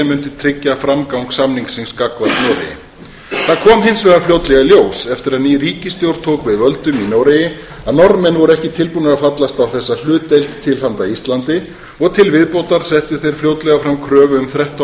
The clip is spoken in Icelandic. mundi tryggja framgang samningsins gagnvart noregi það kom hins vegar fljótlega í ljós eftir að ný ríkisstjórn tók við völdum í noregi að norðmenn voru ekki tilbúnir að fallast á þessa hlutdeild til handa íslandi og til viðbótar settu þeir fljótlega fram kröfu um þrettán